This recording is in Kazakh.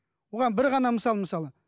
бұған бір ғана мысал мысалы